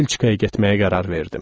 Belçikaya getməyə qərar verdim.